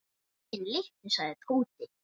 Greyin litlu sagði Tóti.